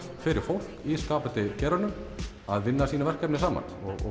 fyrir fólk í skapandi geiranum að vinna saman og